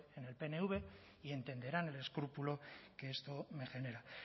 en el pnv y entenderán el escrúpulo que esto me genera